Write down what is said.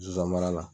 Zonzannin mara la